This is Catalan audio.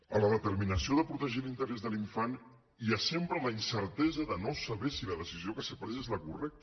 en la determinació de protegir l’interès de l’infant hi ha sempre la incertesa de no saber si la decisió que s’ha pres és la correcta